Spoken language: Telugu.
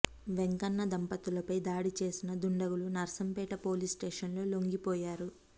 వెంకన్న దంపతులపై దాడి చేసిన దుండగులు నర్సంపేట పోలీస్ స్టేషన్ లో లొంగిపోయారు